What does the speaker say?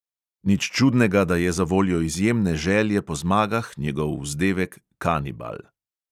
Nič čudnega, da je zavoljo izjemne želje po zmagah njegov vzdevek kanibal.